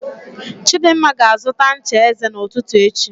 Chidimma ga-azụta ncha eze n'ụtụtụ echi